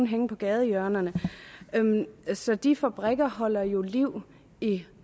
hænge på gadehjørnerne så de fabrikker holder jo liv i i